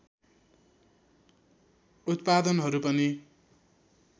उत्पादनहरू पनि